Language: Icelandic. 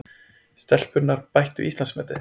Stelpurnar bættu Íslandsmetið